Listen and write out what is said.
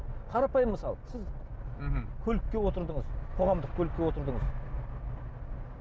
қарапайым мысал сіз мхм көлікке отырдыңыз қоғамдық көлікке отырдыңыз